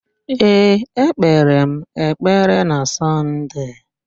Ee, ekpere m ekpere na Sọnde.